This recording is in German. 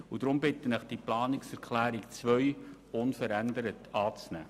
Deshalb bitte ich Sie, diese Planungserklärung 2 unverändert anzunehmen.